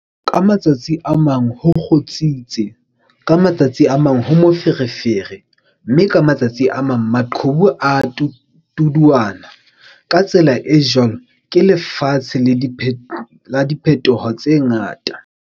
Ka matsatsi a mang ho kgutsitse, ka ma tsatsi a mang ho moferefere mme ka matsatsi a mang maqhubu a a tuduana, ka tsela e jwalo ke lefatshe la diphetoho tse ngata!